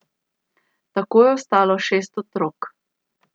Tako je ostalo šest otrok.